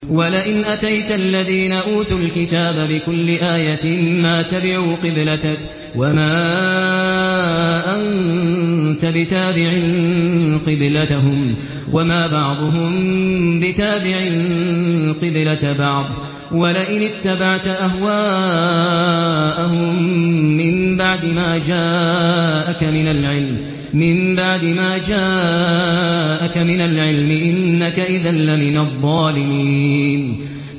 وَلَئِنْ أَتَيْتَ الَّذِينَ أُوتُوا الْكِتَابَ بِكُلِّ آيَةٍ مَّا تَبِعُوا قِبْلَتَكَ ۚ وَمَا أَنتَ بِتَابِعٍ قِبْلَتَهُمْ ۚ وَمَا بَعْضُهُم بِتَابِعٍ قِبْلَةَ بَعْضٍ ۚ وَلَئِنِ اتَّبَعْتَ أَهْوَاءَهُم مِّن بَعْدِ مَا جَاءَكَ مِنَ الْعِلْمِ ۙ إِنَّكَ إِذًا لَّمِنَ الظَّالِمِينَ